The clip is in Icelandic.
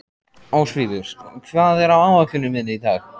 Ósvífur, hvað er á áætluninni minni í dag?